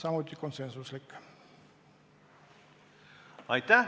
Aitäh!